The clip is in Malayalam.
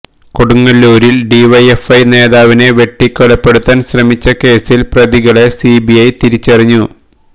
കൊടുങ്ങല്ലൂരില് ഡിവൈഎഫ്ഐ നേതാവിനെ വെട്ടികൊലപെടുത്താന് ശ്രമിച്ച കേസില് പ്രതികളെ സിബിഐ തിരിച്ചറിഞ്ഞു